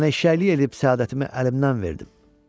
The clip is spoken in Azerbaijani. Mən eşşəyin eləyib səadətimi əlimdən verdim.